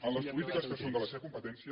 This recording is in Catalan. en les polítiques que són de la seva competència